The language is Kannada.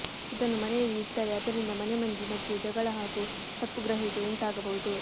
ಇದನ್ನು ಮನೆಯಲ್ಲಿ ಇಟ್ಟರೆ ಅದರಿಂದ ಮನೆಮಂದಿ ಮಧ್ಯೆ ಜಗಳ ಹಾಗೂ ತಪ್ಪು ಗ್ರಹಿಕೆ ಉಂಟಾಗಬಹುದು